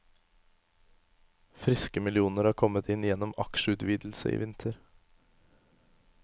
Friske millioner har kommet inn gjennom aksjeutvidelse i vinter.